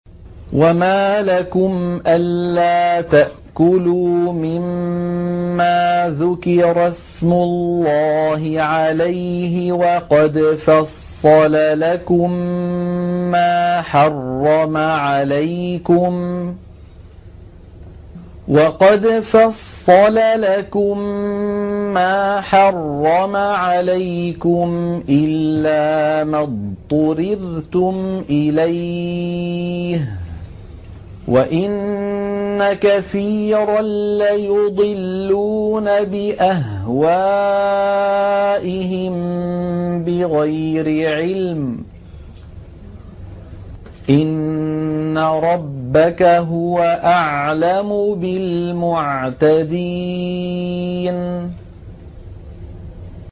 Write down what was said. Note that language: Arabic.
وَمَا لَكُمْ أَلَّا تَأْكُلُوا مِمَّا ذُكِرَ اسْمُ اللَّهِ عَلَيْهِ وَقَدْ فَصَّلَ لَكُم مَّا حَرَّمَ عَلَيْكُمْ إِلَّا مَا اضْطُرِرْتُمْ إِلَيْهِ ۗ وَإِنَّ كَثِيرًا لَّيُضِلُّونَ بِأَهْوَائِهِم بِغَيْرِ عِلْمٍ ۗ إِنَّ رَبَّكَ هُوَ أَعْلَمُ بِالْمُعْتَدِينَ